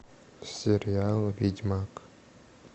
сериал ведьмак